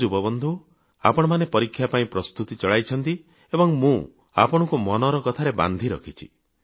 ହଉ ଯୁବବନ୍ଧୁ ଆପଣମାନେ ପରୀକ୍ଷା ପାଇଁ ପ୍ରସ୍ତୁତି ଚଳାଇଛନ୍ତି ଏବଂ ମୁଁ ଆପଣଙ୍କୁ ମନର କଥାରେ ବାନ୍ଧି ରଖିଛି